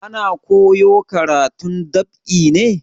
Ana koyo karatun dab'i ne?